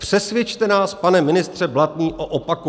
Přesvědčte nás, pane ministře Blatný, o opaku.